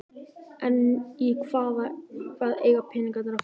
En í hvað eiga peningarnir að fara?